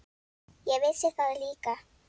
Ég vissi það líka.